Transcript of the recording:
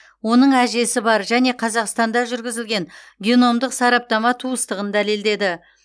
оның әжесі бар және қазақстанда жүргізілген геномдық сараптама туыстығын дәлелдеді